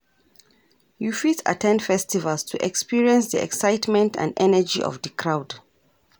you fit at ten d festivals to experience di excitement and energy of di crowd.